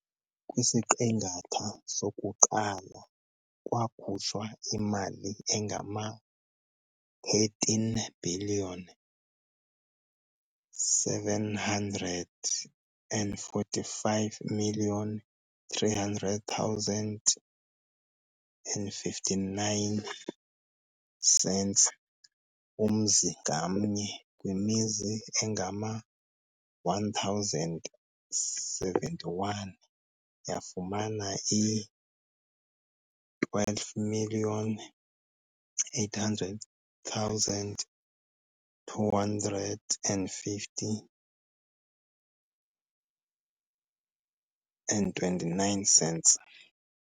Kwisiqingatha sokuqala kwakhutshwa imali engama R187 345 350,59, umzi ngamnye kwimizi engama 1071 yafumana iR128 250,29.